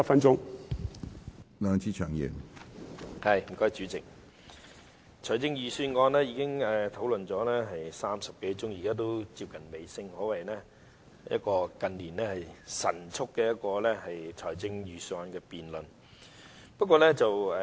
主席，財政預算案辯論已進行了30多個小時，現在接近尾聲，可謂近年一個神速的預算案辯論。